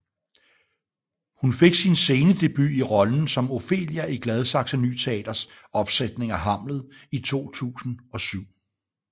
Hun fik sin scenedebut i rollen som Ofelia i Gladsaxe Ny Teaters opsætning af Hamlet i 2007